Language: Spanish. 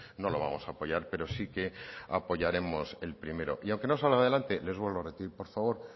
no lo vamos a aprobar pero sí que apoyaremos el primero y aunque no salga adelante les vuelvo a repetir por favor